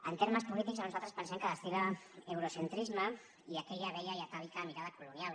en termes polítics nosaltres pensem que destil·la euro centrisme i aquella vella i atàvica mirada colonial